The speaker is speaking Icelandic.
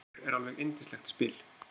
Póker er alveg yndislegt spil.